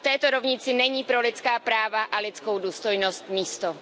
a v této rovnici není pro lidská práva a lidskou důstojnost místo.